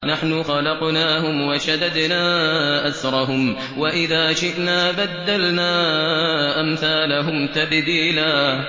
نَّحْنُ خَلَقْنَاهُمْ وَشَدَدْنَا أَسْرَهُمْ ۖ وَإِذَا شِئْنَا بَدَّلْنَا أَمْثَالَهُمْ تَبْدِيلًا